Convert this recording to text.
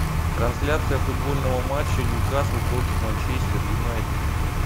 трансляция футбольного матча ньюкасл против манчестер юнайтед